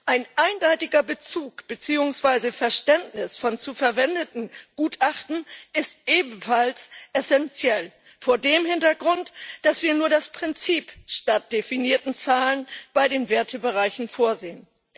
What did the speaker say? Ein eindeutiger Bezug beziehungsweise ein eindeutiges Verständnis von zu verwendenden Gutachten, ist ebenfalls essenziell vor dem Hintergrund, dass wir nur das Prinzip statt definierten Zahlen bei den Wertebereichen vorsehen.